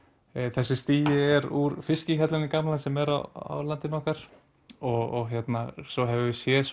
þessi stigi er úr fiskihjallanum gamla sem er á landinu okkar og svo höfum við séð